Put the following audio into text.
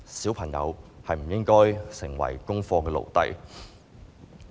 小朋友不應該成為功課的奴隸。